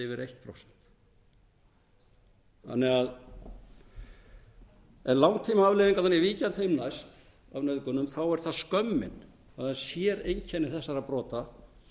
um eða yfir eitt prósent langtímaafleiðingarnar af nauðgunum ég vík að þeim næst þá er það skömmin það er séreinkenni þessara brota